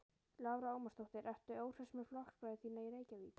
Lára Ómarsdóttir: Ertu óhress með flokksbræður þína í Reykjavík?